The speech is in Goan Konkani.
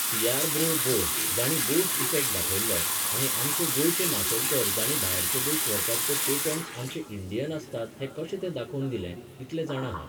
सियार ब्रो बोस जाणीं बोस इफेक्ट दाखयल्लो आनी आमचे गोंयचे माशेलकर जाणीं भायरचे देश व्हरतात ते patents आमचे इंडियन आसतात हें कशें तें दाखोवन दिलें, इतलें जाणां हांव.